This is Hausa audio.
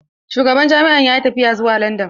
Shugaban jami'an yayi tafiya zuwa landan.